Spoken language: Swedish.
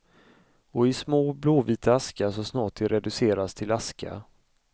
Och i små, blåvita askar så snart de reducerats till aska.